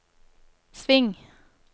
sving